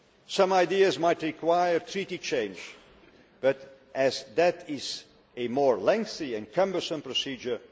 Some ideas might require treaty change but that is a more lengthy and cumbersome procedure.